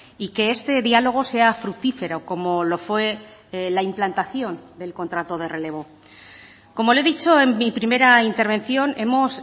y que este diálogo sea fructífero como lo fue la implantación del contrato de relevo como le he dicho en mi primera intervención hemos